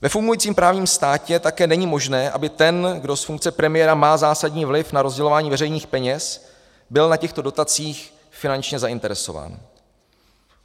Ve fungujícím právním státě také není možné, aby ten, kdo z funkce premiéra má zásadní vliv na rozdělování veřejných peněz, byl na těchto dotacích finančně zainteresován.